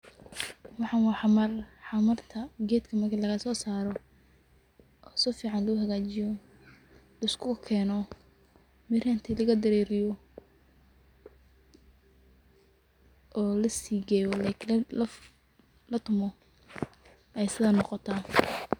Wxan waa xamar, xamarta ged marki lagasosaro o sifican lohagajiyo liskukeno mirah intii lagadareriyo olasigeyo latumo ay sidan noqota.